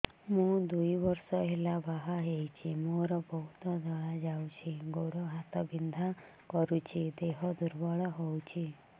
ମୁ ଦୁଇ ବର୍ଷ ହେଲା ବାହା ହେଇଛି ମୋର ବହୁତ ଧଳା ଯାଉଛି ଗୋଡ଼ ହାତ ବିନ୍ଧା କରୁଛି ଦେହ ଦୁର୍ବଳ ହଉଛି